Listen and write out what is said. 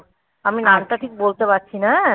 আমি নামটা ঠিক বলতে পারছি না হ্যাঁ ঠিক আছে